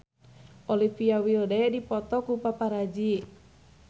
Olivia Wilde dipoto ku paparazi